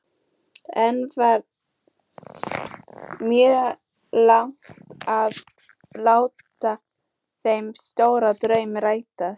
En var mögulegt að láta þennan stóra draum rætast?